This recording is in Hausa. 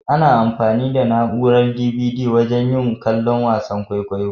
Ana anfani da na'urar "DVD" wajen yin kallon wasan kwaikwayo.